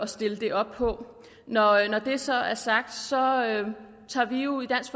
stille det op på når det så er sagt tager vi jo i dansk